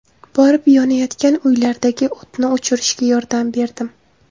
Borib, yonayotgan uylardagi o‘tni o‘chirishga yordam berdim.